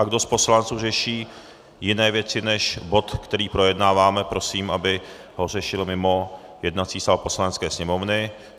A kdo z poslanců řeší jiné věci než bod, který projednáváme, prosím, aby ho řešil mimo jednací sál Poslanecké sněmovny.